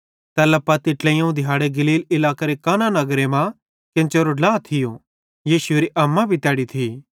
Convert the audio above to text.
तैल्ला पत्ती ट्लेइयोवं दिहाड़े गलील इलाकेरे काना नगरे मां केन्चेरो ड्ला थियो यीशुएरी अम्मा भी तैड़ी थी